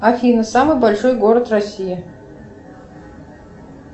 афина самый большой город россии